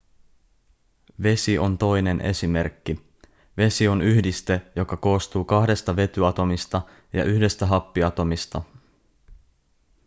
vesi on toinen esimerkki vesi on yhdiste joka koostuu kahdesta vetyatomista ja yhdestä happiatomista